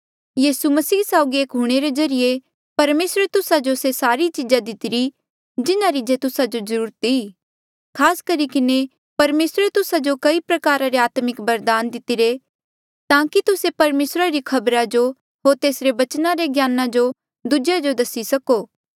यीसू मसीह साउगी एक हूणे रे ज्रीए परमेसरे तुस्सा जो से सारी चिजा दितिरी जिन्हारी जे तुस्सा जो जरूरत ई खास करी किन्हें परमेसरे तुस्सा जो कई प्रकारा रा आत्मिक बरदान दितिरा ताकि तुस्से परमेसरा री खबरा जो होर तेसरे बचना रे ज्ञान जो दूजेया जो दसी सको